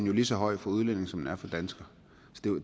er lige så høj for udlændinge som den er for danskere